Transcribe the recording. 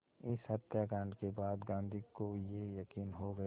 इस हत्याकांड के बाद गांधी को ये यक़ीन हो गया